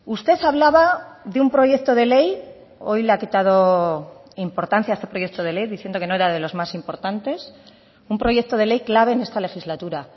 usted hablaba de un proyecto de ley hoy le ha quitado importancia a este proyecto de ley diciendo que no era de los más importantes un proyecto de ley clave en esta legislatura